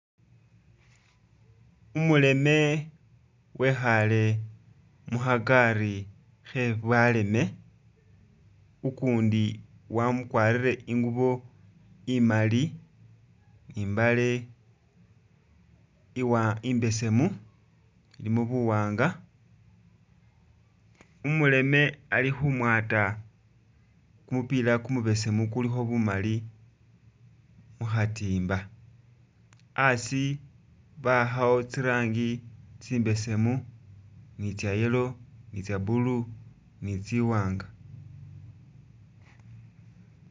Umuleme wekhaale mukhakari khe'baleme ukundi wakwarire i'ngubo imaali ni mbaale iwa i'besemu ilimo buwaanga, umuleme ali khumwata kumupila kumubesemu ukulikho bumali mukhatimba, a'asi bawakhawo tsirangi tsi mbesemu ni tsya yellow ni tsya blue ni tsi'waanga